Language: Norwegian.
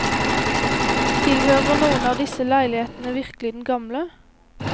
Tilhører noen av disse leilighetene virkelig den gamle?